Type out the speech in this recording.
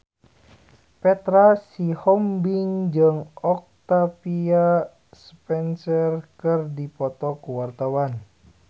Petra Sihombing jeung Octavia Spencer keur dipoto ku wartawan